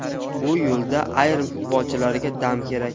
Bu yo‘lda ayrim futbolchilarga dam kerak.